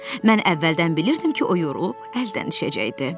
Mən əvvəldən bilirdim ki, o yorulub əldən düşəcəkdi.